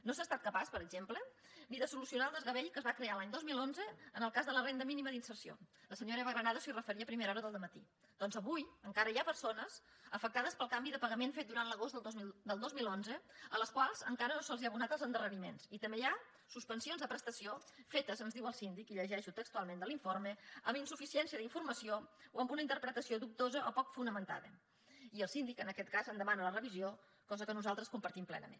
no s’ha estat capaç per exemple ni de solucionar el desgavell que es va crear l’any dos mil onze en el cas de la renda mínima d’inserció la senyora eva granados s’hi referia a primera hora del dematí perquè avui encara hi ha persones afectades pel canvi de pagament fet durant l’agost del dos mil onze a les quals encara no se’ls han abonat els endarreriments i també hi ha suspensions de prestació fetes ens diu el síndic i ho llegeixo textualment de l’informe amb insuficiència d’informació o amb una interpretació dubtosa o poc fonamentada i el síndic en aquest cas en demana la revisió cosa que nosaltres compartim plenament